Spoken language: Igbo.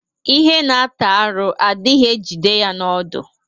Ihe na-ata arụ adịghị ejide ya n'ọdụ.